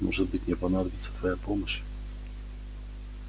может быть мне понадобится твоя помощь